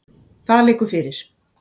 Það liggur fyrir.